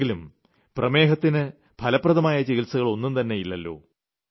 അല്ലെങ്കിലും പ്രമേഹത്തിന് ഫലപ്രദമായ ചികിത്സകൾ ഒന്നും തന്നെ ഇല്ലല്ലോ